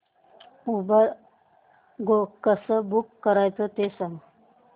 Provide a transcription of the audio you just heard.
Uber Go कसं book करायचं ते सांग